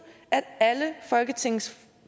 at alle folketingets